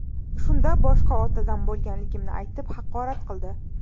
Shunda boshqa otadan bo‘lganligimni aytib haqorat qildi.